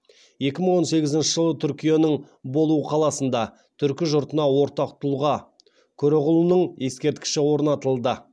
екі мың он сегізінші жылы түркияның болу қаласына түркі жұртына ортақ тұлға көроғлының ескерткіші орнатылды